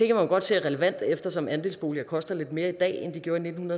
jo godt se er relevant eftersom andelsboliger koster lidt mere i dag end de gjorde i nitten